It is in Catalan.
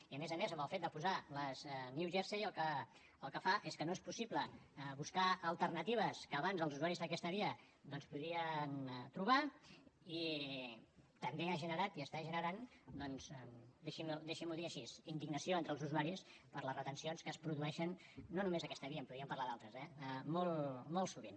i a més a més amb el fet de posar les new jersey el que es fa és que no és possible buscar alternatives que abans els usuaris d’aquesta via doncs podien trobar i també ha generat i està generant deixi m’ho dir així indignació entre els usuaris per les retencions que es produeixen no només en aquesta via podríem parlar d’altres eh molt sovint